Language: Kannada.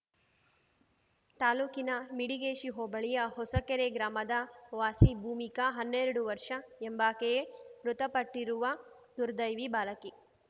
ತಾಲ್ಲೂಕಿನ ಮಿಡಿಗೇಶಿ ಹೋಬಳಿಯ ಹೊಸಕೆರೆ ಗ್ರಾಮದ ವಾಸಿ ಭೂಮಿಕಾ ಹನ್ನೆರಡು ವರ್ಷ ಎಂಬಾಕೆಯೇ ಮೃತಪಟ್ಟಿರುವ ದುರ್ದೈವಿ ಬಾಲಕಿ